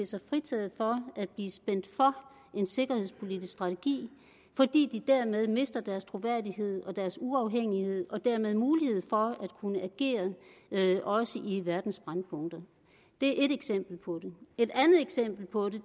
sig fritaget for at blive spændt for en sikkerhedspolitisk strategi fordi de derved mister deres troværdighed og uafhængighed og dermed mulighed for at kunne agere også i verdens brændpunkter det er et eksempel på det et andet eksempel på